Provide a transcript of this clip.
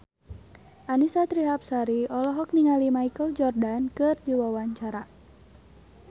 Annisa Trihapsari olohok ningali Michael Jordan keur diwawancara